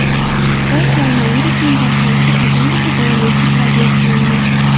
Xitoy koronavirusining tarqalishi qachongacha davom etishi prognoz qilindi.